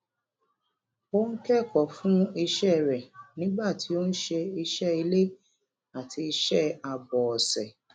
ó ń kẹkọọ fún iṣẹ rẹ nígbà tí ó ń ṣe iṣẹ ilé àti iṣẹ àbòọṣẹ